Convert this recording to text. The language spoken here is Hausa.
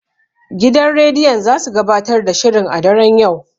Gidan rediyon zasu gabatar da shirin a daren yau.